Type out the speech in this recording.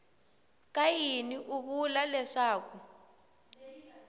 ka yini u vula leswaku